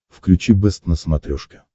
включи бэст на смотрешке